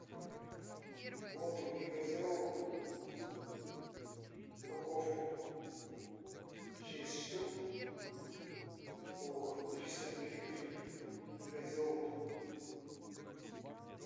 воду негазированную упаковку шесть штук по триста миллилитров негазированную